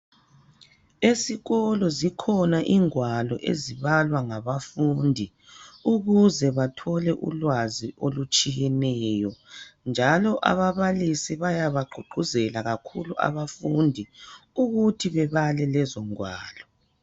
Esikolo zikhona ingwalo ezibalwa ngabafundi ukuze bathole ulwazi olutshiyeneyo njalo ababalisi bayabagqugquzela kakhulu abafundi ukuthi bebale lezo ngwalo.